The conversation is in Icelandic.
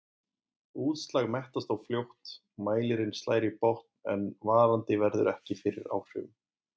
Útslag mettast þá fljótt, mælirinn slær í botn en varandi verður ekki fyrir áhrifum.